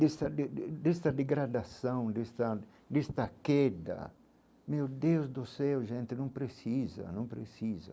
Desta de de desta degradação, desta desta queda, meu Deus do céu, gente, não precisa, não precisa.